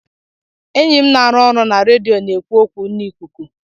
Enyi m na-arụ ọrụ na redio na-ekwu okwu n'ikuku.